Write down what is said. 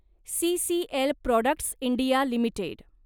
CCL products India limited